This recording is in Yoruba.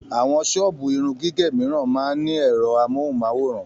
Àwọn ṣọ́ọ̀bù irun gígẹ̀ mìíràn máa ń ní ẹ̀rọ amóhùn-máwòrán